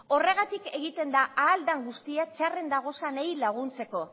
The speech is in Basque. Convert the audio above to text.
horregatik egiten da ahal den guztia txarren dagozanei laguntzeko